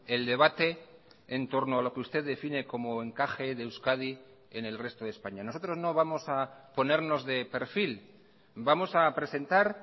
el debate en torno a lo que usted define como encaje de euskadi en el resto de españa nosotros no vamos a ponernos de perfil vamos a presentar